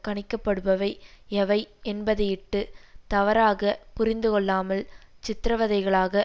கணிக்கப்படுபவை எவை என்பதையிட்டு தவறாக புரிந்துகொள்ளாமல் சித்திரவதைகளாக